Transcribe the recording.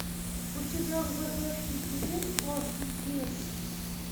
у тебя в загашнике есть классный кеес